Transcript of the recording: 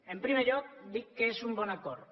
en primer lloc dic que és un bon acord